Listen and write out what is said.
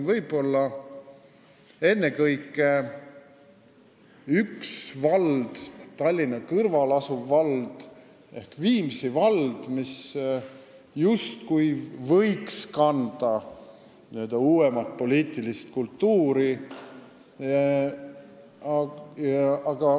Võib-olla ennekõike üks vald, Tallinna kõrval asuv Viimsi vald, mis justkui võiks esindada n-ö uuemat poliitilist kultuuri.